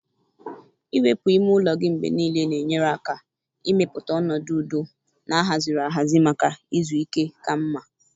Iwepu ime ụlọ gị mgbe niile na-enyere aka ịmepụta ọnọdụ udo na ahaziri ahazi maka izu ike ka mma.